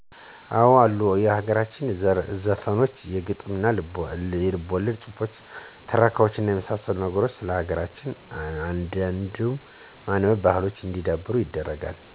አወ አሉ የሀገር ዘፈኖች የግጥምና የልቦለድ ጹህፎች ትረካዋች የመሳሰሉት ነገሮች ስለ ሀገር እንድንወድ የማንበብ ባሕሎች እንዲዳብሩ ያደርጋሉ።